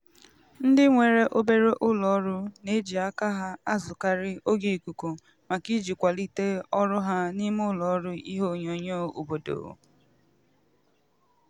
ndị nwere obere ụlọọrụ n'eji aka ha azụkarị oge ikuku maka iji kwalite ọrụ ha n'ime ụlọọrụ ihe onyonyo obodo.